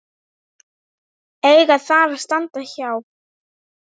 eiga þar að standa hjá.